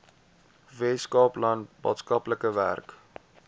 weskaapland maatskaplike werk